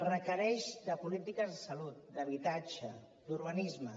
requereix polítiques de salut d’habitatge d’urbanisme